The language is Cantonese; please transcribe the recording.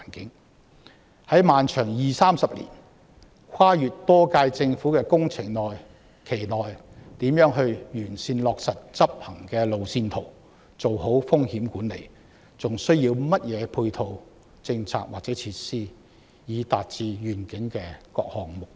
此外，在耗時二三十年、跨越多屆政府的漫長工程期內，在任政府亦應完善落實已制訂的執行路線圖，做好風險管理，並實行所需的配套政策或設施，以達致願景的各項目標。